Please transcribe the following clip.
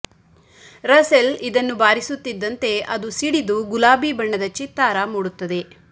Russell ಇದನ್ನು ಬಾರಿಸುತ್ತಿದ್ದಂತೆ ಅದು ಸಿಡಿದು ಗುಲಾಬಿ ಬಣ್ಣದ ಚಿತ್ತಾರ ಮೂಡುತ್ತದೆ